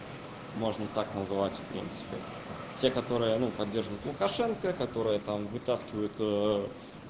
можно так назвать в принципе те которые ну поддерживают лукашенко которые там вытаскивают